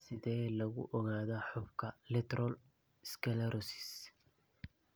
Sidee lagu ogaadaa xuubka lateral sclerosis?